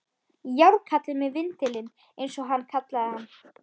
Járnkallinn með vindilinn, eins og hann kallaði hann.